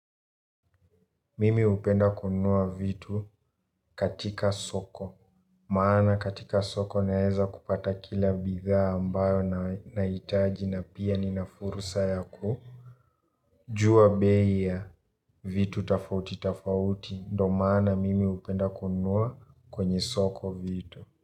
Mimi upenda kunua vitu katika soko. Maana katika soko naeza kupata kila bitha ambayo na itaji na pia ninafurusa yaku. Jua bei yavitu tofauti tofauti. Ndo maana mimi upenda kunua kwenye soko vitu.